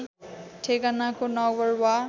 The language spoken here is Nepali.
ठेगानाको नगर वा